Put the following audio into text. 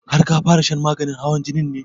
Har ka fara shan maganin hawan jinin ne?